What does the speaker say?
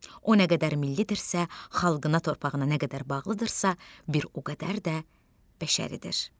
O nə qədər millidirsə, xalqına, torpağına nə qədər bağlıdırsa, bir o qədər də bəşəridir.